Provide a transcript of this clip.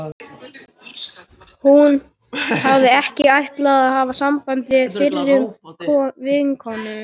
Hún hafði ekki ætlað að hafa samband við fyrrum vinkonur